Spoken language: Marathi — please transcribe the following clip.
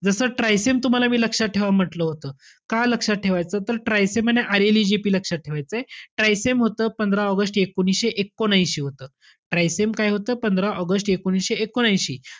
जस TRYSEM तूम्हाला मी लक्षात ठेवा म्हंटल होतं. का लक्षात ठेवायाचं तर TRYSEM आणि IRLAGP लक्षात ठेवायचंय. TRYSEM होतं पंधरा ऑगस्ट एकोणीसशे एकोनऐशी होतं. TRYSEM काय होतं? पंधरा ऑगस्ट एकोणीसशे एकोनऐशी.